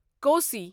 Kosi